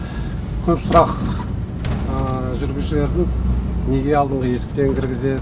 көп сұрақ жүргізушілердің неге алдыңғы есіктен кіргізеді